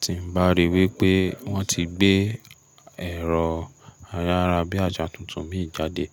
Tí m bá rí wípé wọ́n ti gbé ẹ̀rọ ayárabíàjà tuntun mì jáde